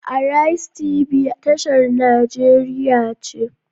Arise TB tashar nigeria ce.